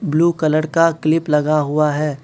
Blue colour का clip लगा हुआ है।